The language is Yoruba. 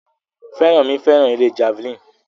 Feranmi fẹ́ràn eré Javelin